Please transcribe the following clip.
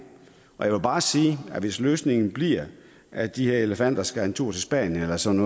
og jeg vil bare sige at hvis løsningen bliver at de her elefanter skal en tur til spanien eller sådan